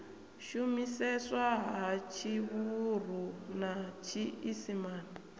shumiseswa ha tshivhuru na tshiisimane